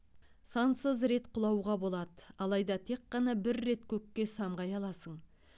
сансыз рет құлауға болады алайда тек қана бір рет көкке самғай аласың